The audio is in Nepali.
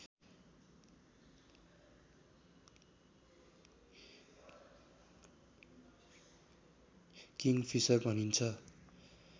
किङफिसर भनिन्छ